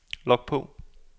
log på